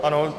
Ano.